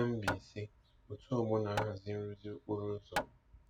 Na Mbaise, otu ọgbọ na-ahazi nrụzi okporo ụzọ.